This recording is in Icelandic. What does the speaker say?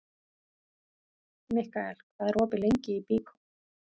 Mikkael, hvað er opið lengi í Byko?